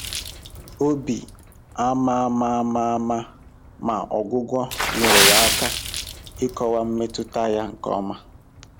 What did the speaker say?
Obi ama ama ama ama, ma ọgwụgwọ nyeere ya aka ịkọwa mmetụta ya nke ọma.